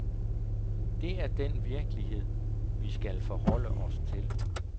Det er den virkelighed, vi skal forholde os til.